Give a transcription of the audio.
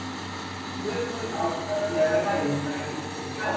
Jökulárnar bera næringarefni til sjávar.